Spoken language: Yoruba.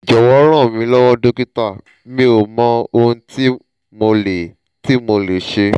jowo ranmilowo dokita mi o mo ohun ti mo le ti mo le se